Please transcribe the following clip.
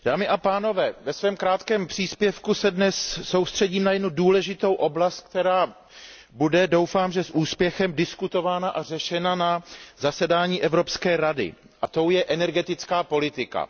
Dámy a pánové, ve svém krátkém příspěvku se dnes soustředím na jednu důležitou oblast, která bude, doufám že s úspěchem, diskutována a řešena na zasedání Evropské rady, a tou je energetická politika.